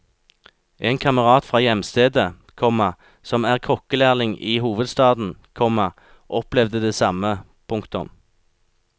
En kamerat fra hjemstedet, komma som er kokkelærling i hovedstaden, komma opplevde det samme. punktum